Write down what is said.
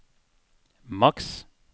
maks